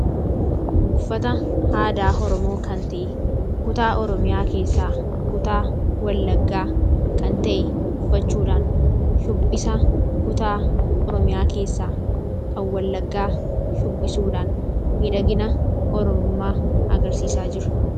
Uffata aadaa Oromoo kan ta’e kutaa Oromiyaa keessaa kutaa Wallaggaa kan ta’e uffachuudhaan shubbisa kutaa Oromiyaa jeessaa kan Wallaggaa shubbisuudhaan miidhagina Oromummaa agarsiisaa jiru.